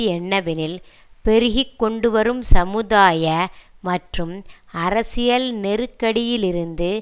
என்னவெனில் பெருகி கொண்டு வரும் சமுதாய மற்றும் அரசியல் நெருக்கடியிலிருந்து